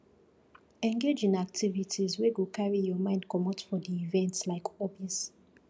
engage in activites wey go carry your mind comot from di event like hobbies